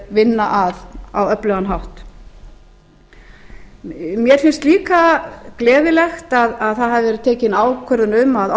vinna að á öflugan hátt mér finnst líka gleðilegt að það hafi verið tekin ákvörðun um að